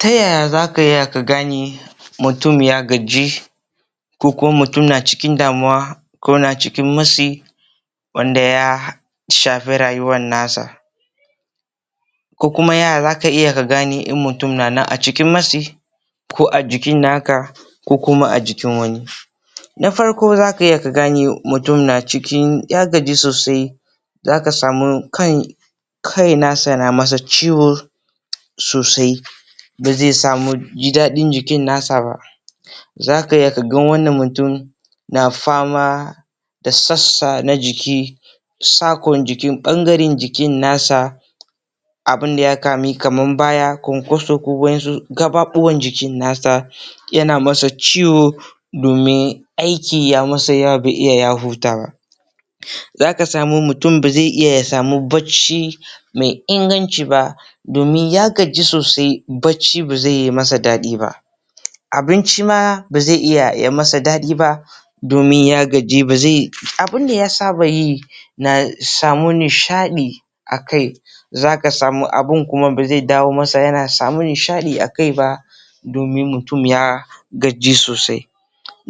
Ta yaya zaka iya ka gane mutum ya gaji koh kuma mutum na cikin damuwa koh na cikin matsi wanda ya shafi rayuwan nasa koh kuma ya zaka iya ka gane in mutum na nan acikin matsi ko ajikin naka ko kuma ajikin wani. Na farko zaka iya gane na cikin mutum ya gaji sosai, zaka samu kan kai nasa nayi masa ciwo sosai bazai ji dadin jikinsa ba, zaka iya kaga wannan mutum na fama da sassa na jiki sakon da jiki bangare na jikinsa abinda ya kama kaman bayan kwankwaso koh wasu gabobin jikinsa yana masa ciwo domin aiki ya masa bai iya yawa baya hutawa. Zaka samu mutum bazai samu bacci mai inganci domin ya gaji sosai bacci baze masa dadi ba, abinci ma bazai masa dadi ba domin ya gaji, abinda ya saba yi ya samu nishadi akai akai zaka samu abin baze dawo masa yana samun nishadi akai ba domin mutum ya gaji sosai.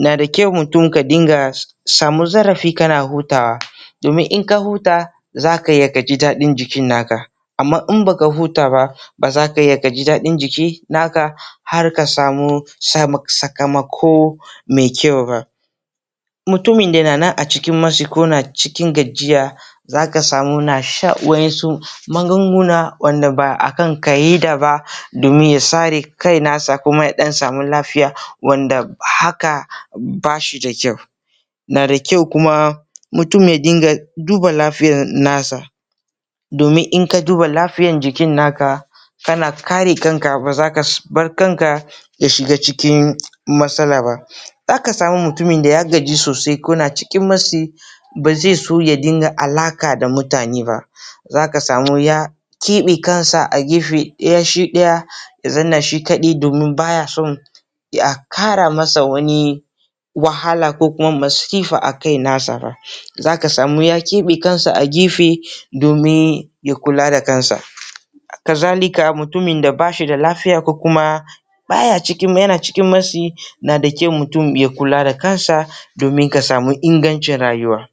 Yanada kyau mutum ya samu zarafi yana hutawa, domin in ya huta zaka iya kaji dadin jikinka amma in baka huta bah ba zaka iya kaji dadin jikin naka jikinka har ka samu sakamako mai kyau ba, mutum da keh cikin matsi koh gajiya zaka samu yana shan wa'insu magunguna da basa kan ka’ida domin ya sare kansa kuma ya samu lafiya. Wanda hakan bashida kyau, yanada kyau ka dinga duba lafiyan nasa domin inka duba lafiyan jikin naka kana kare kanka bazaka bar kanka ka shiga cikin matsala ba, zaka samu mutumina da ya gaji sosai yana cikin matsi, bazai so ya dinga alama da mutane ba zaka samu ya kebe kansa a gefe daya shi daya ya zauna shi kadai domin baya so ya kara masa wani wahala kokuma masifa a kai na saba, Zaka samu ya kebe kansa a gefe domin domin ya kula da kansa haka zalika mutumin da bashida lafiya kokuma baya cikin matsi na da kyau mutum ya kula da kansa domin ka samu ingancin rayuwa.